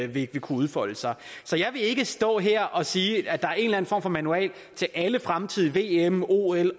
ville kunne udfolde sig så jeg vil ikke stå her og sige at der er en for manual til alle fremtidige vm